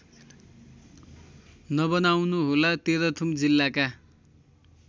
नबनाउनुहोला तेह्रथुम जिल्लाका